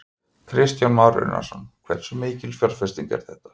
Kristján Már Unnarsson: Hversu mikil fjárfesting er þetta?